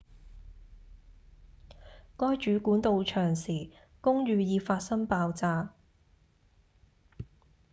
該主管到場時公寓已發生爆炸